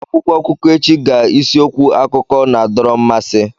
akwụkwọ akụkọ echi ga isiokwu akụkọ na-adọrọ mmasị